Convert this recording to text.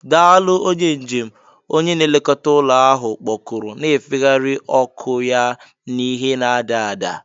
"Daalụ, onye njem," onye na-elekọta ụlọ ahụ kpọkuru, na-efegharị ọkụ ya n'ìhè na-ada ada